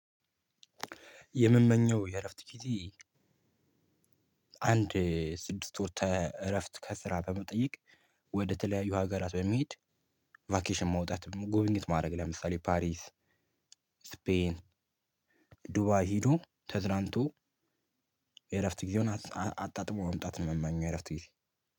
የምመኘው የእረፍት ጊዜ አንድ ስድስት ወር ተ እረፍት ከስራ በመጠየቅ ወደ ተለያዩ ሀገራት በሚሄድ- ቫኬሽን መውጣትም ጉብኝት ማድረግ ለምሳሌ ፓሪስ ስፔን ዱባይ ሄዶ ተዝናንቶ- የእረፍት ጊዜውን አጣጥሞ መምጣት ነው የምመኘው የእረፍት ጊዜ።